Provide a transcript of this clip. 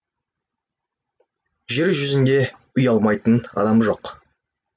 жер жүзінде ұялмайтын адам жоқ